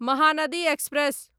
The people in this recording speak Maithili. महानदी एक्सप्रेस